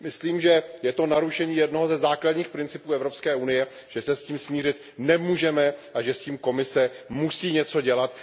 Myslím, že je to narušení jednoho ze základních principů Evropské unie, že se s tím smířit nemůžeme a že s tím Komise musí něco dělat.